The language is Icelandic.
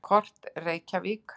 Kort: Reykjavík.